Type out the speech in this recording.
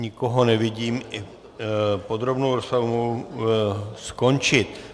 Nikoho nevidím, podrobnou rozpravu mohu skončit.